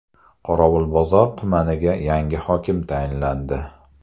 Qorovulbozor tumaniga yangi hokim tayinlandi.